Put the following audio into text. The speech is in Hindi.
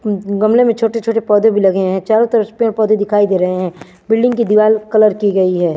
उम्म गमले में छोटे छोटे पोधे भी लगे है चारो तरफ पेड़ पोधे दिखाई दे रहे है बिल्डिंग कि दीवार कलर कि गई है।